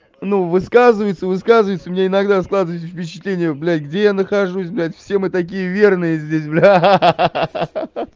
ну высказывается высказывается у меня иногда складывается впечатление блядь где я нахожусь блядь все мы такие верные здесь блядь ха-ха